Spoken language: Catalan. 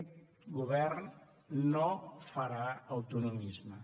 aquest govern no farà autonomisme